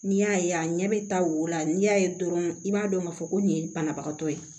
N'i y'a ye a ɲɛ bɛ taa o la n'i y'a ye dɔrɔn i b'a dɔn k'a fɔ ko nin ye banabagatɔ ye